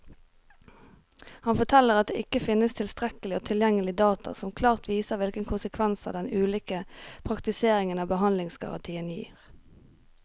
Han forteller at det ikke finnes tilstrekkelig og tilgjengelig data som klart viser hvilke konsekvenser den ulike praktiseringen av behandlingsgarantien gir.